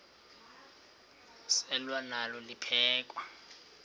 selwa nalo liphekhwe